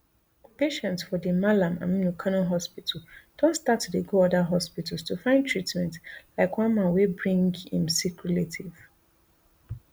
patients for di malam aminu kano hospital don start to dey go oda hospitals to find treatment like one man wey bring im sick relative